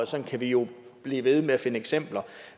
sådan kan vi jo blive ved med at finde eksempler